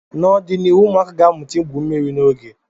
N'ọdịnihu, ụmụaka ga-amụta igwu mmiri n'oge.